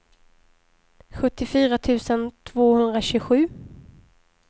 sjuttiofyra tusen tvåhundratjugosju